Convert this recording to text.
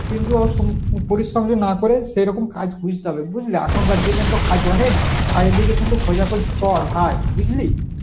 কিন্তু ও সুম~ পরিশ্রম টো না করে সেরকম কাজ খুঁজতে হবে বুঝলা, এখনকার দিনে তো কাজ অনেক চারিদিকে কিন্তু খোঁজাখুঁজি কর ভাই, বুঝলি?